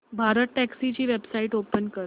भारतटॅक्सी ची website open कर